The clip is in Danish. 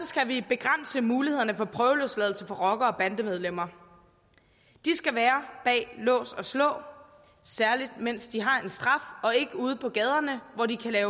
skal vi begrænse mulighederne for prøveløsladelse for rockere og bandemedlemmer de skal være bag lås og slå særlig mens de har en straf og ikke ude på gaderne hvor de kan